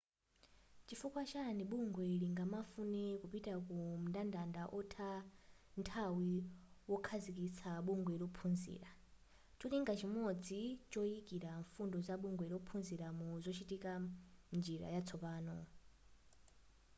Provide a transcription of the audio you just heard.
nchifukwa chani bungwe lingamafune kupita mu mndandanda otha nthawi wokhazikitsa bungwe lophunzira cholinga chimodzi choyikira mfundo za bungwe lophunzira mu zochitika mnjira yatsopano